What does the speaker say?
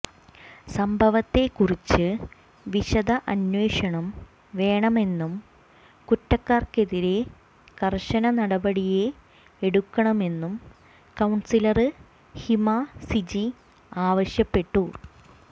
സംഭവത്തെ കുറിച്ച് വിശദ അന്വേഷണം വേണമെന്നും കുറ്റക്കാര്ക്കെതിരെ കര്ശന നടപടിയെടുക്കണമെന്നും കൌണ്സിലര് ഹിമസിജി ആവശ്യപ്പെട്ടു